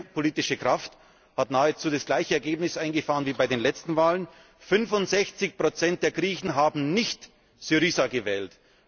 ist. Unsere politische Kraft hat nahezu das gleiche Ergebnis eingefahren wie bei den letzten Wahlen. 65 der Griechen haben nicht SYRIZA gewählt.